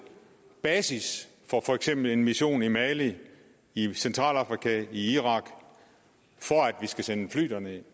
basis for for eksempel en mission i mali i centralafrika i irak for at vi skal sende fly derned